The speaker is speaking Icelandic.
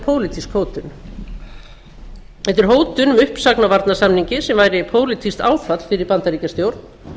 pólitísk hótun þetta er hótun um uppsögn á varnarsamningi sem væri pólitískt áfall fyrir bandaríkjastjórn